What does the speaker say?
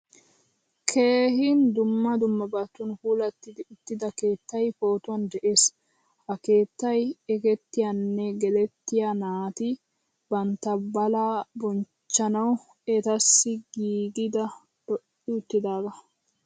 Keehin dumma dummabatun puulatidi uttida keettay pootuwan de'ees. Ha keettay ekketiyane gelettiyaa naati bantta baalaa bonchchanawu etasi giigidi lo'i uttidaaga.